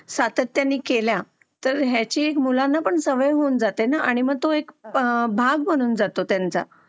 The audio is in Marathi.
आणि सातत्य ने केले ना तर मुलांना पण त्या गोष्टी ची सवय होते ना आणि तो एक बघ बनून जाते त्यांचा